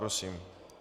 Prosím.